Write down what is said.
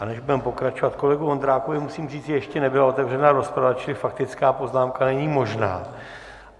A než budeme pokračovat, kolegu Vondrákovi musím říct, že ještě nebyla otevřena rozprava, čili faktická poznámka není možná.